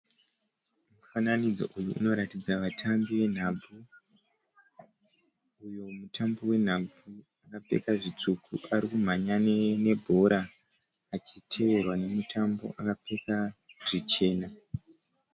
Mufananidzo uyu unoratidza vatambi venhabvu uyo mutambi wenhabvu akapfeka zvitsvuku ari kumhanya nebhora achiteverwa nemutambi akapfeka zvichena.